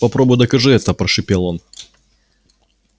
попробуй докажи это прошипел он